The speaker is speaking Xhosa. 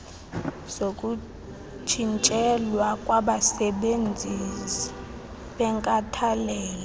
zokutshintselwa kwabasebenzizi benkathalelo